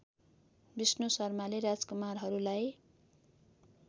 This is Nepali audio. विष्णु शर्माले राजकुमारहरूलाई